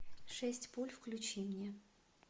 шесть пуль включи мне